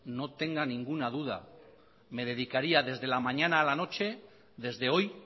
no tenga ninguna duda me dedicaría desde la mañana a la noche desde hoy